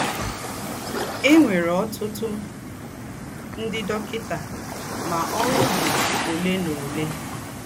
È nwèrè ọ́tùtù ńdị́ dọ́kịtà, mà ọ́rụ́ dì ólè na ólè.